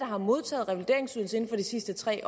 har modtaget revalideringsydelse inden for de sidste tre